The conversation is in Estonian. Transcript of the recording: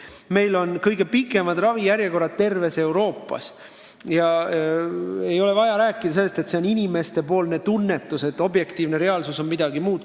Meil on kõige pikemad ravijärjekorrad terves Euroopas ja ei maksa rääkida, et inimestel on lihtsalt säärane tunne, et objektiivne reaalsus on midagi muud.